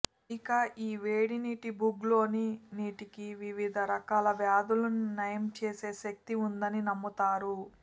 ఇక ఈ వేడినీటి బుగ్లోని నీటికి వివిధ రకాల వ్యాధులను నయం చేసే శక్తి ఉందని నమ్ముతారు